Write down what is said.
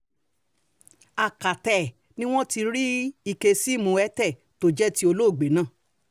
akata ẹ̀ ni wọ́n ti rí ike síìmù airtel tó jẹ́ ti olóògbé náà